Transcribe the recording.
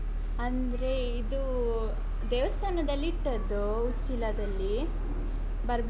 ಅಂದ್ರೆ ಇದೂ ದೇವಸ್ಥಾನದಲ್ಲಿ ಇಟ್ಟದ್ದು ಉಚ್ಚಿಲದಲ್ಲಿ ಬರ್ಬೇಕು.